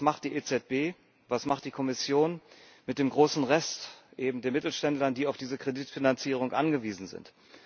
Aber was macht die EZB, was macht die Kommission mit dem großen Rest eben der Mittelständler, die auf diese Kreditfinanzierung angewiesen sind?